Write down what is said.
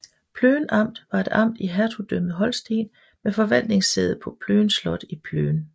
Plön Amt var et amt i Hertugdømmet Holsten med forvaltningssæde på Plön Slot i Plön